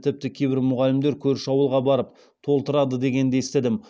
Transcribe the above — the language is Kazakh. тіпті кейбір мұғалімдер көрші ауылға барып толтырады дегенді естідім